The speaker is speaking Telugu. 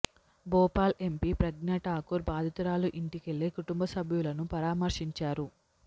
భోపాల్ ఎంపీ ప్రజ్ఞా ఠాకూర్ బాధితురాలి ఇంటికెళ్లి కుటుంబ సభ్యులను పరామర్శించారు